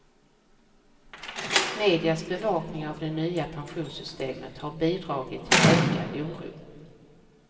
Medias bevakning av det nya pensionssystemet har bidragit till ökad oro.